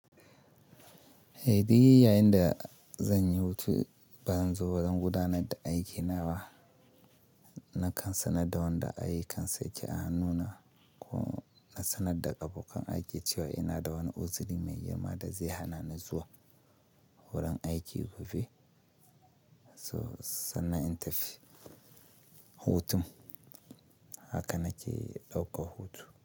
Eh, digiri yayin da zan yi hutu ba zan zo wurin gudanar da aiki na ba. Na kan sanar da wanda aikan suke a hannuna ko na sanar da ƙafokan aiki cewa ina da wani uzuri mai girma da zai hana ni zuwa wurin aiki gobe, so sannan in tafi hutun haka nake ɗaukar hutu.